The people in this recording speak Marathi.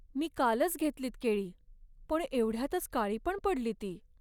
मी कालच घेतलीत केळी, पण एवढ्यातच काळी पण पडली ती.